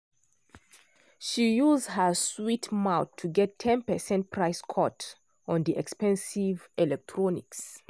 she use her sweet mouth to get ten percent price cut on di expensive electronics.